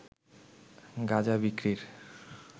গাঁজা বিক্রির